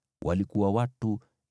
walikuwa watu 8,580.